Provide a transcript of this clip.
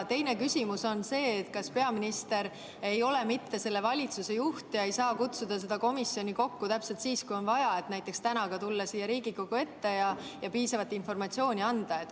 Teiseks, küsimus on see, kas peaminister ei ole mitte selle valitsuse juht ega saa kutsuda seda komisjoni kokku täpselt siis, kui on vaja, et näiteks täna ikkagi tulla siia Riigikogu ette ja piisavat informatsiooni anda.